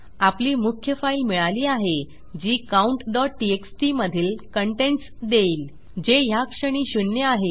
आपली मुख्य फाईल मिळाली आहे जी countटीएक्सटी मधील कंटेंट्स देईल जे ह्याक्षणी शून्य आहे